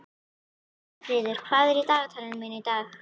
Herfríður, hvað er í dagatalinu mínu í dag?